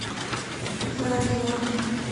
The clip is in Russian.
заозерный